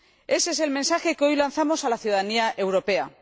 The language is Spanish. Ese es el mensaje que hoy lanzamos a la ciudadanía europea.